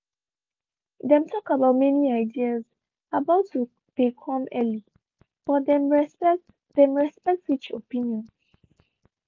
dem talk about many ideas about to dey come earlybut them respect them respect each opinion.